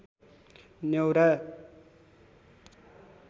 न्‍यौरा